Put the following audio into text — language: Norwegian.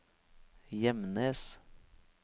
Gjemnes